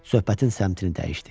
Söhbətin səmtini dəyişdi.